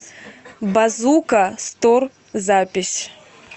базука стор запись